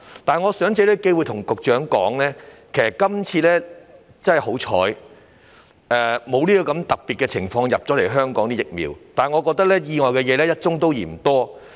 我藉此機會告訴局長，其實香港今次真的很幸運，該種特別的疫苗沒有供應香港，但我認為意外是"一宗也嫌多"。